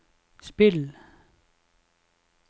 spill